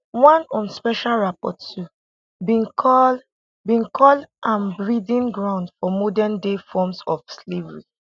one un special rapporteur bin call bin call am breeding ground for modern day forms of slavery